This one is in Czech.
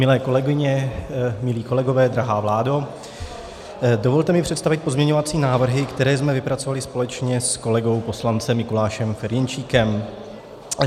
Milé kolegyně, milí kolegové, drahá vládo, dovolte mi představit pozměňovací návrhy, které jsme vypracovali společně s kolegou poslancem Mikulášem Ferjenčíkem.